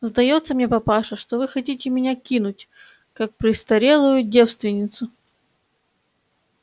сдаётся мне папаша что вы хотите меня кинуть как престарелую девственницу